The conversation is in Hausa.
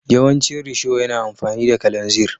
Yawancin risho yana amfani da kalanzir.